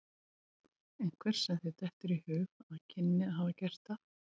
Einhver sem þér dettur í hug að kynni að hafa gert það?